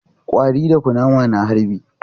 Ƙwari da kunama na harbi